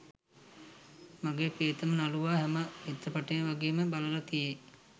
මගේ ප්‍රියතම නළුවා හැම චිත්‍රපටයම වගේ බලලා තියේ.